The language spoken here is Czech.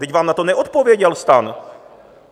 Vždyť vám na to neodpověděl STAN.